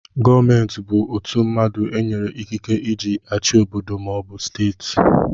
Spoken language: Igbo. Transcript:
Gọọmenti bụ ọtu mmadụ enyere ikike eji achị obodo maọbu steeti.